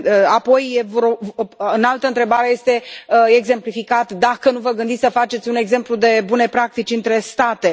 Apoi, în altă întrebare este exemplificat dacă nu vă gândiți să faceți un exemplu de bune practici între state.